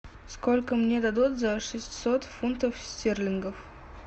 сколько мне дадут за шестьсот фунтов стерлингов